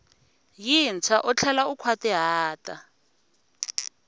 yintshwa u tlhela u nkhwatihata